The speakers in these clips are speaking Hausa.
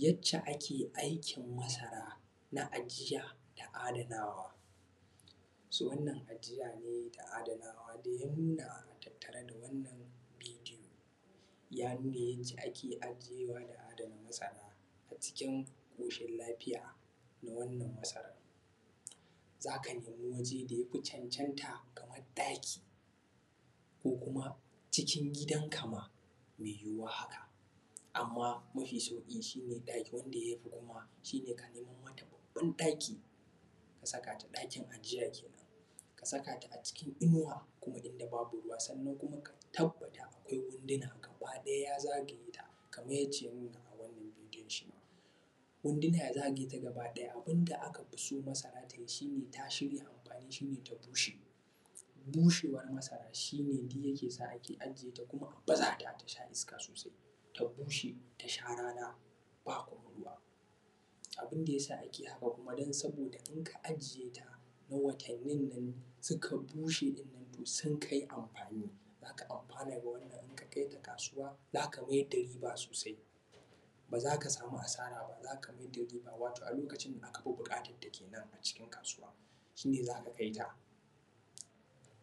Yacce ake aikin masara da ajiya da adanawa. So wannan ajiya ne da adanawa dai ya nuna a tattare da wannan bidiyo, ya nuna yacce ake ajiyewa da adana masara a cikin ƙoshin lafiya na wannan masarar. Za ka nemi waje da ya fi cancanta, kamar ɗaki, ko kuma cikin gidanka ma mai yuwuwa haka, amma mafi sauƙi shi ne ɗaki wanda ya fi kuma shi ne ka neman mata babban ɗaki, ka saka ta, ɗakin ajiya ke nan. Ka saka ta a cikin inuwa kuma inda babu ruwa, sannan kuma ka tabbata akwai wunduna gabaɗaya ya zagaye ta kamar yadda aka nuna a wannan bidiyon shi ma, wunduna ya zagaye ta gabaɗaya. Abun da aka fi so masara ta yi shi ne, ta shirya amfani shi ne ta bushe. Bushewar masara shi ne duk yake sa ake ajiye ta, kuma a baza ta ta sha iska sosai, ta bushe ta sha rana, ba kuma ruwa. Abun da ya sa ake haka kuma don saboda in ka ajiye ta, na watannin nan, suka bushe ɗin nan, to sun kai amfani. Za ka amfana da wannan in ka kai ta kasuwa, za ka mayar da riba sosai, ba za ka samu asara ba, za ka mayar da riba, wato a lokacin aka fi buƙatar ta ke nan a cikin kasuwa, shi ne za ka kai ta.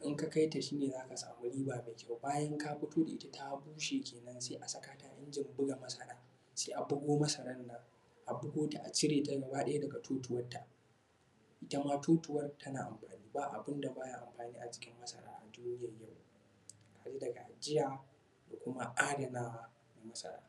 In ka kai ta shi ne za ka samu riba mai kyau. Bayan ka fito da ita ta bushe ke nan, sai a saka ta a injin buga masara, sai a bugo masaran nan, a bugo ta a cire ta gabaɗaya daga totuwarta. Ita ma totuwar tana amfani, ba abun da ba ya amfani a jikin masara a duniyar yau, har daga ajiya da kuma adanawa na masara.